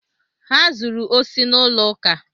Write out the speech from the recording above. Ha zuru osi n'ụlọ ụka.